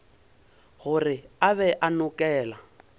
gore o be a nokela